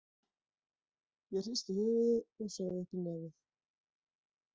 Ég hristi höfuðið og saug upp í nefið.